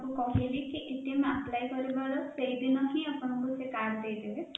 କହିଲି କି କରିବାର ସେଇ ଦିନ ଆପଣଙ୍କୁ card ଦେଇଦେବେ